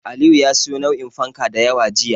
Aliyu ya siyo nau'in fanka da yawa jiya.